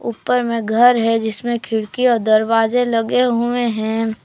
ऊपर में घर है जिसमें खिड़की और दरवाजे लगे हुए हैं।